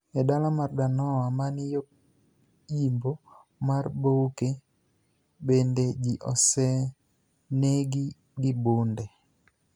E dala mar Daloa, mani yo yimbo mar Bouake, benide ji oseni egi gi bunide.